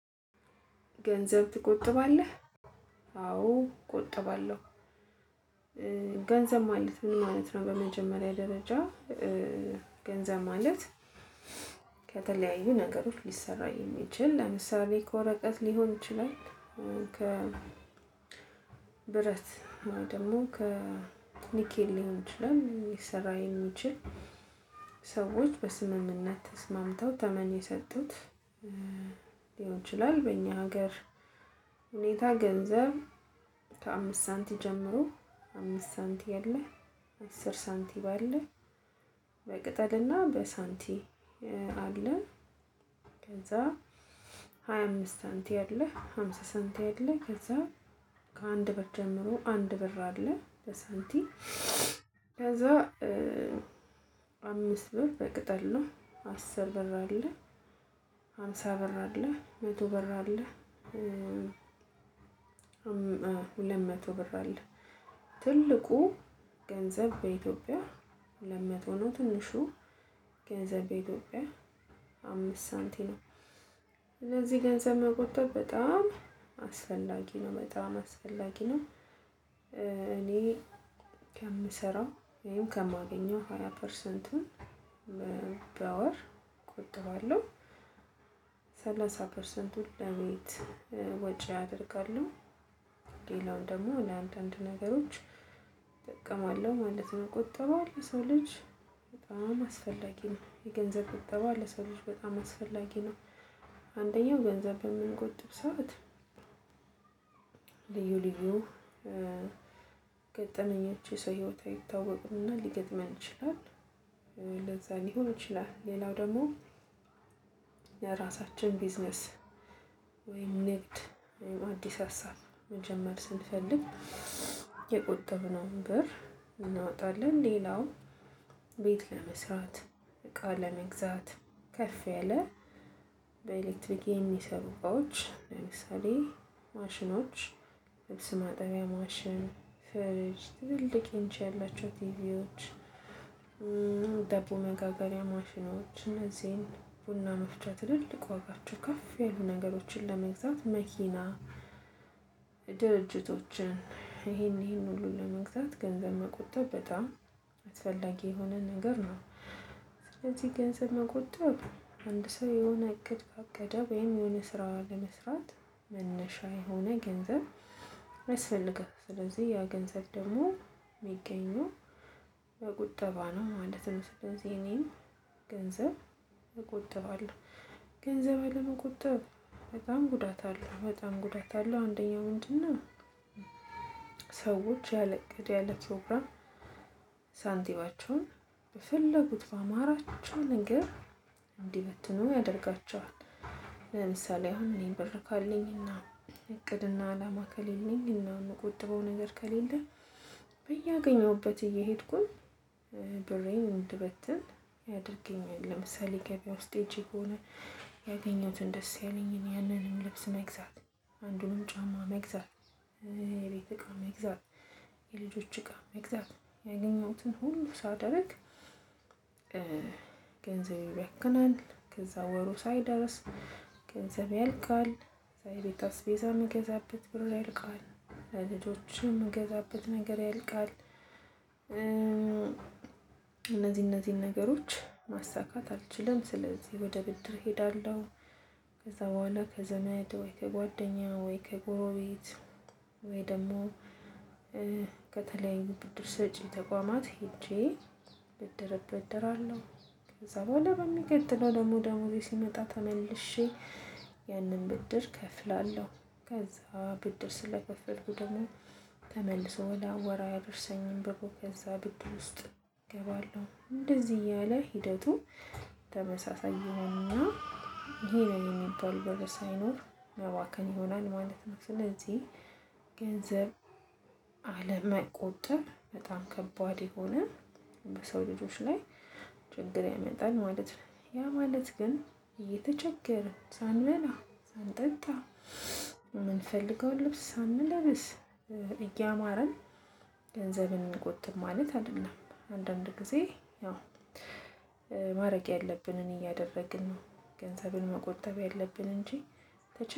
ገንዘብ ትቆጥባለህ አዎ ቆጥባለሁ። ገንዘብ ማለት ምን ማለት ነው? በመጀመሪያ ደረጃ ገንዘብ ማለት ከተለያዩ ነገሮች ሊሰራ የሚችል ለምሳሌ ከወረቀት ሊሆን ይችላል። ከ ብረት ወይ ደግሞ ከኒኬል ሊሆን ይችላል ሊሰራ የሚችል። ሰዎች በስምምነት ተስማምተው ተመን የሰጡት ሊሆን ይችላል በእኛ ሀገር ሁኔታ ገንዘብ። ከአምስት ሳንቲም ጀምሮ አምስት ሳንቲም የለ አስር ሳንቲም አለ። በቅጠልና በሳንቲ አለ ከዛ ሃያ አምስት ሳንቲም አለ ሃምሳ ሳንቲም አለ። ከዛ ከአንድ ብር ጀምሮ አንድ ብር አለ ለሳንቲም ከዛ አምስት ብር በቅጠል ነው። አስር ብር አለ ሃምሳ ብር አለ መቶ ብር አለ። ሁለት መቶ ብር አለ ትልቁ ገንዘብ በኢትዮጵያ ሁለት መቶ ነው። ትንሹ ገንዘብ በኢትዮጵያ አምስት ሳንቲም። ስለዚህ ገንዘብ መቆጠብ በጣም አስፈላጊ ነው በጣም አስፈላጊ ነው። እኔ ከምሰራው ይሄም ከማገኘው ሃያ ፐርሰንቱን በወር እቆጥበዋለሁ። ሰላሳ ፐርሰንቱን ለቤት ወጪ አደርጋለሁ ሌላው ደግሞ ለአንዳንድ ነገሮች እጠቀማለሁ ማለት ነው። ቁጠባ ለሰው ልጅ በጣም አስፈላጊ ነው የገንዘብ ቁጠባ ለሰው ልጅ በጣም አስፈላጊ ነው። አንደኛው ገንዘብ በምንቆጥብ ሰዓት ልዩ ልዩ ገጠመኞች የሰው ህይወት አይታወቅምና ሊገጥመን ይችላል። ለዛ ሊሆን ይችላል ሌላው ደግሞ የራሳችን ቢዝነስ ወይ ንግድ ወይም አዲስ ሀሳብ መጀመር ስንፈልግ የቁጥብነውን ብር እናወጣለን። ሌላው ቤት ለመስራት እቃ ለመግዛት ከፍ ያለ በኤሌክትሪክ የሚሰሩ እቃዎች ለምሳሌ ማሽኖች ልብስ ማጠቢያ ማሽን ፍሪጅ ትልልቅ ኢንች ያላቸው ቲቪዎች። ዳቦ መጋገሪያ ማሽኖች እነዚህን ቡና መፍጫ ትልልቅ ዋጋቸው ከፍ ያሉ ነገሮችን ለመግዛት መኪና ድርጅቶችን ይሄን ይሄን ሁሉ ለመግዛት ገንዘብ መቆጠብ በጣም አስፈላጊ የሆነ ነገር ነው። ስለዚህ ገንዘብ መቆጠብ አንድ ሰው የሆነ እቅድ ካቀደ ወይም የሆነ ስራ ለመስራት መነሻ የሆነ ገንዘብ አይስፈልግም ስለዚህ ያ ገንዘብ ደግሞ የሚገኙ በቁጠባ ነው። አንድ ስለዚህ እኔም ገንዘብ እቆጥባለሁ። ገንዘብ አለመቆጠብ በጣም ጉዳት አለው በጣም ጉዳት አለው። አንደኛው ወንድና ሰዎች ያለ እቅድ ያለ ፕሮግራም ሳንቲማቸውን በፈለጉት በአማራቸው ነገር እንዲመትኑ ያደርጋቸዋል። ለምሳሌ አሁን እኔ ብር ካለኝና እቅድና አላማ ከሌለኝ እና የምቆጥበው ነገር ከሌለ በየአገኘሁበት እየሄድኩኝ ብሬን እንድበትን ያደርገኛል። ለምሳሌ ገበያ ውስጥ ሄጄ ከሆነ ያገኘሁትን ደስ ያለኝን ያንንም ልብስ መግዛት አንዱን ጫማ መግዛት የቤት እቃ መግዛት የልጆች እቃ መግዛት ያገኘሁትን ሁሉ ሳደርግ። ገንዘብ ይባክናል ከዛ ወሩ ሳይደርስ ገንዘብ ያልቃል ከዛ የቤት አስቤዛ የምገዛበት ብር ያልቃል ለልጆችም ምገዛበት ነገር ያልቃል። እነዚህ እነዚህን ነገሮች ማሳካት አልችልም ስለዚህ ወደ ብድር እሄዳለሁ። ከዛ በኋላ ከዘመድ ወይ ከጓደኛ ወይ ከጎሮቤት ወይ ደግሞ ከተለያዩ ብድር ሰጪ ተቋማት ሄጄ ብድር እበደራለሁ። ከዛ በኋላ በሚቀጥለው ደግሞ ደሞዜ ሲመጣ ተመልሼ ያንን ብድር እከፍላለሁ። ከዛ ብድር ስለከፈልኩ ደግሞ ተመልሶ ለወር አያደርሰኝም ብሩ ከዛ ብድር ውስጥ እገባለሁ እንደዚህ እያለ ሂደቱ ተመሳሳይ ይሆንና። ይሄ ነው የሚባል ብር ሳይኖር መባከን ይሆናል ማለት ነው። ስለዚህ ገንዘብ አለመቆጠብ በጣም ከባድ የሆነ በሰው ልጆች ላይ ችግር ያመጣል ማለት ነው። ያ ማለት ግን እየተቸገርን ሳንበላ ሳንጠጣ የምንፈልገውን ልብስ ሳንለማ እያማረን ገንዘብን እንቆጥብ ማለት አይደለም። አንዳንድ ጊዜ ያው ማረግ ያለብንን እያደረግን ነው። ገንዘብን መቆጠብ ያለብን እንጂ